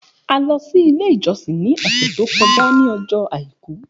A lọ si ile ijọsin ni ọsẹ to kọja ni ọjọ Aiku.